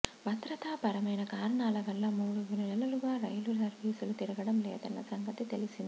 భద్రతా పరమైన కారణాల వల్ల మూడు నెలలుగా రైలు సర్వీసులు తిరగడం లేదన్న సంగతి తెలిసిందే